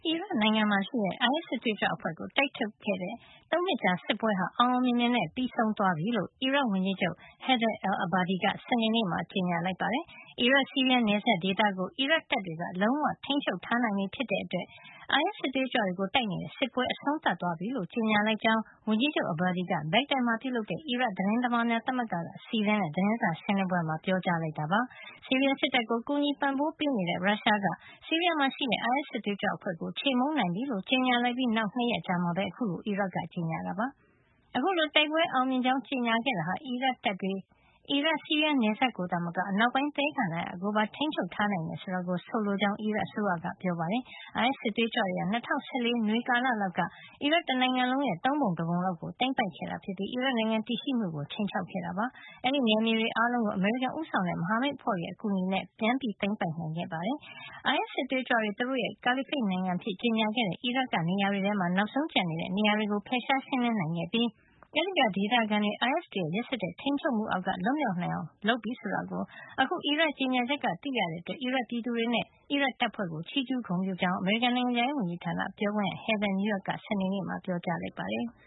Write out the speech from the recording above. ီရတ်နိုင်ငံမှာ ရှိတဲ့ အိုင်အက်စ် စစ်သွေးကြွအဖွဲ့ကို တိုက်ထုတ်တဲ့ ၃ နှစ်ကြာ စစ်ပွဲဟာ အောင်အောင်မြင်မြင်နဲ့ ပြီးဆုံးသွားပြီလို့ အီရတ် ဝန်ကြီးချုပ် Haider al-Abadi က စနေနေ့မှာ ကြေညာလိုက်ပါတယ်။ အီရတ်- ဆီးရီးယား နယ်စပ်ဒေသကို အီရတ်တပ်တွေက လုံးဝ ထိမ်းချုပ် ထားနိုင်ပြီဖြစ်တဲ့အတွက် အိုင်အက်စ် စစ်သွေးကြွတွေကို တိုက်နေတဲ့ စစ်ပွဲ အဆုံးသတ်သွားပြီလို့ ကြေညာလိုက်ကြောင်း ဝန်ကြီးချုပ် Abadi က ဘက်ဂဒက်မှာ ပြုလုပ်တဲ့ အီရတ် သတင်းသမားများ သမဂ္ဂက စီစဉ်တဲ့ သတင်းစာရှင်းလင်းပွဲမှာ ပြောကြားလိုက်တာပါ။ ဆီးရီးယား စစ်တပ်ကို ကူညီပံ့ပိုးပေးနေတဲ့ ရုရှားက ဆီးရီးယားမှာ ရှိတဲ့ အိုင်အက်စ် စစ်သွေးကြွအဖွဲ့ကို ချေမှုန်းနိုင်ပြီလို့ ကြေညာလိုက်ပြီး နောက် ၂ ရက်မှာပဲ အခုလို အီရတ်က ကြေညာခဲ့တာဖြစ်ပါတယ်။ အခုလို တိုက်ပွဲအောင်မြင်ကြောင်း ကြေညာခဲ့တာဟာ အီရတ်တပ်တွေက အီရတ်- ဆီးရီးယား နယ်စပ် ကိုသာမက အနောက်ပိုင်းသဲကန္တာရ ကိုပါ ထိမ်းချုပ်ထားနိုင်တာကို ဆိုလိုကြောင်း အီရတ်အစိုးရက ပြောပါတယ်။ အိုင်အက်စ် စစ်သွေးကြွတွေဟာ ၂၀၁၄ နွေကာလ လောက်က အီရတ်တနိုင်ငံလုံးရဲ့ သုံးပုံ တပုံလောက်ကို သိမ်းပိုက်ခဲ့ပြီး အီရတ်နိုင်ငံ တည်ရှိမှုကို ခြိမ်းခြောက်ခဲ့တာ ဖြစ်ပါတယ်။ အဲဒီနယ်မြေတွေ အားလုံးကို အမေရိကန် ဦးဆောင်တဲ့ မဟာမိတ်အဖွဲ့တွေရဲ့ အကူအညီနဲ့ အီရတ်တပ်တွေက ပြန်လည် သိမ်းပိုက်နိုင်ခဲ့တာပါ။ အိုင်အက်စ် စစ်သွေးကြွတွေ သူတို့ရဲ့ ကာလီဖိတ်နိုင်ငံအဖြစ် ကြေညာခဲ့တဲ့ အီရတ်က နေရာတွေထဲမှာ နောက်ဆုံးကျန်နေတဲ့ နေရာတွေကို ဖယ်ရှားရှင်းလင်း နိုင်ခဲ့ပြီး၊ အဲဒီက ဒေသခံတွေ အိုင်အက်စ်တွေရဲ့ ရက်စက်တဲ့ ထိမ်းချုပ်မှု အောက်က လွတ်မြောက်အောင် လုပ်နိုင်ပြီ ဆိုတာ ကို အခု အီရတ်ရဲ့ ကြေညာချက်ကနေ သိလာရတဲ့ အတွက် အီရတ်ပြည်သူတွေနဲ့ အီရတ်တပ်ဖွဲ့တွေကို ချီးကြူး ဂုဏ်ပြုကြောင်း အမေရိကန် နိုင်ငံခြားရေး ဝန်ကြီးဌာန ပြောခွင့်ရ Heather Nauert က စနေနေ့မှာ ပြောကြားခဲ့ပါတယ်။